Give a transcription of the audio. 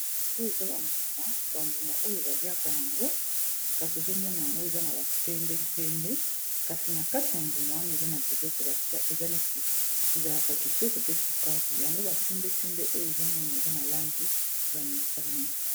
sikoyo eza bambuma bambuma oyo baliaka yango kasi ozomona yango eza na basendesende kasi na kati ya mbuma wana eza na biloko batia eza neti ezalaka kitoko pe sukani yango basendesende oyo ezomona eza na langi ya motane